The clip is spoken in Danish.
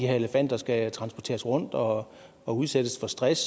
her elefanter skal transporteres rundt og og udsættes for stress